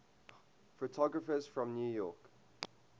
photographers from new york